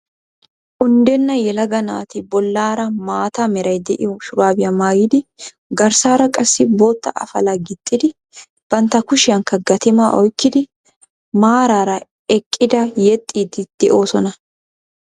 Unddenna yelaga naati bollaara maata Meray de"iyo shuraabiya maayidi garssaara qassi bootta afalaa gixxidi bantta kushiyankka gatimaa oykkidi maaraara eqqida yexxiiddi de"oosona